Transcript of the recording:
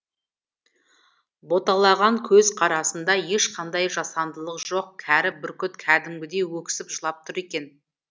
боталаған көз қарасында ешқандай жасандылық жоқ кәрі бүркіт кәдімгідей өксіп жылап тұр екен